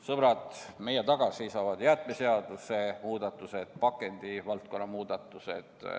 Sõbrad, meie taga seisavad jäätmeseaduse muudatused, pakendivaldkonna muudatused.